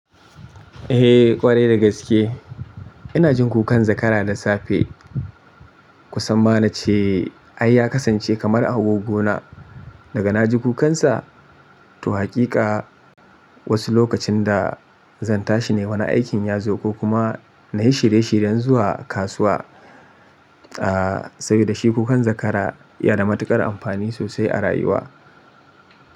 Eh ƙwarai da gaske. Ina jin kukan zakara da safe. Kusan ma na ce ai ya kasance kamar agogona daga na ji kukansa. To hakika wasu lokacin da zan tashi ne wani aikin ya zo ko kuma na yi shirye shiryen zuwa kasuwa. Ah saboda shi kukan zakara ya na matuƙar amfani sosai a rayuwa.